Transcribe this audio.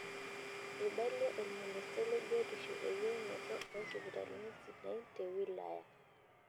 Eibalie olministai le biotisho eyienoto oo sipitalini sidai te wilaya.